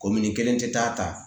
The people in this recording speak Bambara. Komin ni kelen tɛ taa